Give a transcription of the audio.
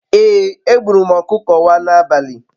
Ee, egburu m okuko wa n'abali